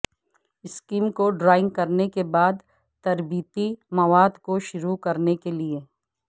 scheme کو drawing کرنے کے بعد تربیتی مواد کو شروع کرنے کے لئے